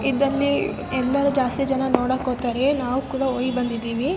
ಒಂದು ಕೋಟೆ ರಾಯ್ ಚೂರ್ ಅಲ್ಲಿ ಬಾಳ ಫೇಮಸ್ .